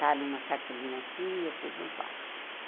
Está numa cartolina assim e eu pus num quadro.